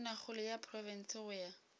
tonakgolo ya profense go ya